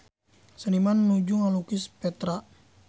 Seniman nuju ngalukis Petra